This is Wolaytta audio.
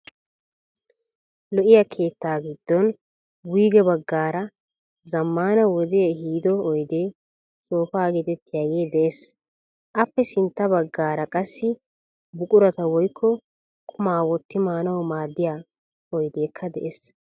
Lo"iyaa keetta giddon wuyge baggaara zammaana wodee ehido oydee soofaa geetettiyaagee de'ees. Aappe sintta baggaara qassi buqurata woyikko qumaa wotti maanawu maaddiya oydeekka de'ees.